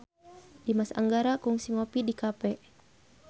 Dimas Anggara kungsi ngopi di cafe